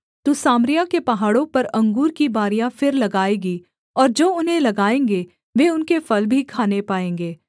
तू सामरिया के पहाड़ों पर अंगूर की बारियाँ फिर लगाएगी और जो उन्हें लगाएँगे वे उनके फल भी खाने पाएँगे